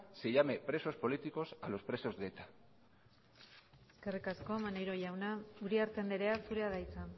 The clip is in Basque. se llame presos políticos a los presos de eta eskerrik asko maneiro jauna uriarte andrea zurea da hitza